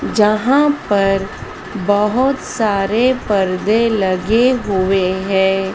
जहां पर बहोत सारे पर्दे लगे हुए--